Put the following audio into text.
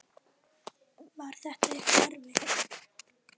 Hugrún: Var þetta eitthvað erfitt?